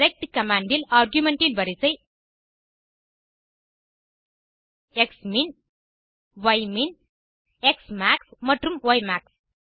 rect command இல் argument இன் வரிசை க்ஸ்மின் யிமின் ஸ்மாக்ஸ் மற்றும் யமாக்ஸ்